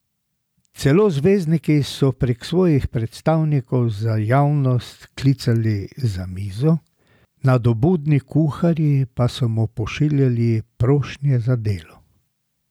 Celo zvezdniki so prek svojih predstavnikov za javnost klicarili za mizo, nadobudni kuharji pa so mu pošiljali prošnje za delo.